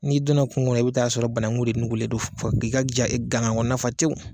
N'i donna kungo kɔnɔ i bi taa sɔrɔ banangu de nugulen don k'i fɔ k'i ka ja ganga kɔnɔna fa tew